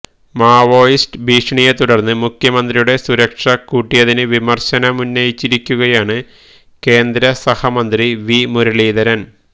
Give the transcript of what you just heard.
Maoist ഭീഷണിയെത്തുടര്ന്ന് മുഖ്യമന്ത്രിയുടെ സുരക്ഷ കൂട്ടിയതിന് വിമർശനമുന്നയിച്ചിരിക്കുകയാണ് കേന്ദ്ര സഹമന്ത്രി വി മുരളീധരൻ